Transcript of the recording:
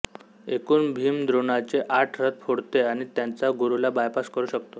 एकूण भीम द्रोणाचे आठ रथ फोडतो आणि त्याच्या गुरूला बायपास करू शकतो